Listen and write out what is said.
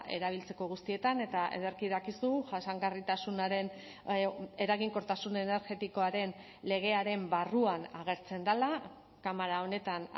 erabiltzeko guztietan eta ederki dakizu jasangarritasunaren eraginkortasun energetikoaren legearen barruan agertzen dela kamara honetan